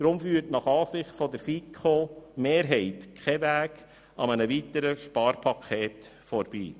Darum führt nach Ansicht der FiKo kein Weg an einem weiteren Sparpaket vorbei.